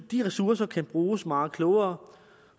de ressourcer kan bruges meget klogere